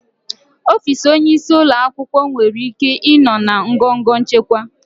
Ọfịs onyeisi ụlọ akwụkwọ nwere ike ịnọ na ngọngọ nchịkwa.